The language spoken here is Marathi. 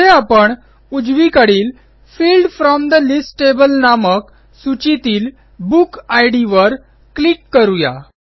पुढे आपण उजवीकडील field from the list table नामक सूचीतील बुक इद वर क्लिक करू या